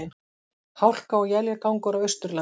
Hálka og éljagangur á Austurlandi